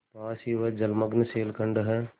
पास ही वह जलमग्न शैलखंड है